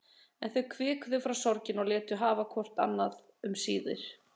En þau hvikuðu frá sorginni og létu sig hafa hvort annað um síðir.